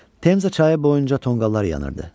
Temza çayı boyunca tonqallar yanırdı.